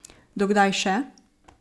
Do kdaj še?